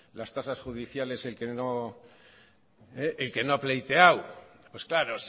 las tasas judiciales el que no ha pleiteado pues claro